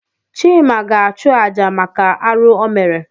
Chịma ga-achụ àjà maka arụ o mere.